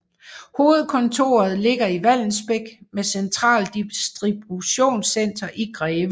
Hovedkontoret ligger i Vallensbæk med centralt distributionscenter i Greve